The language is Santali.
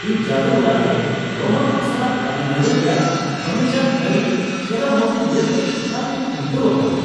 ᱤᱧ ᱡᱟᱹᱫᱩ ᱚᱲᱟᱜ ᱨᱮ ᱨᱳᱢᱟᱱ ᱠᱚ ᱥᱟᱞᱟᱜ ᱛᱟᱹᱢᱤᱞᱱᱟᱹᱲᱩ ᱨᱮᱭᱟᱜ ᱵᱟᱹᱱᱤᱡᱟᱱ ᱠᱟᱹᱨᱤᱼᱠᱮᱨᱟᱢᱚᱛᱤ ᱧᱮᱞᱛᱮ ᱮᱠᱟᱞ ᱛᱮᱧ ᱩᱢᱴᱟᱹᱣ ᱟᱠᱟᱱᱟ ᱾